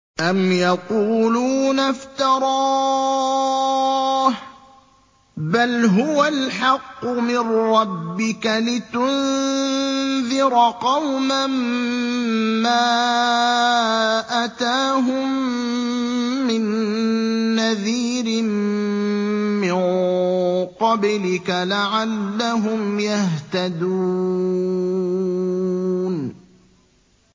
أَمْ يَقُولُونَ افْتَرَاهُ ۚ بَلْ هُوَ الْحَقُّ مِن رَّبِّكَ لِتُنذِرَ قَوْمًا مَّا أَتَاهُم مِّن نَّذِيرٍ مِّن قَبْلِكَ لَعَلَّهُمْ يَهْتَدُونَ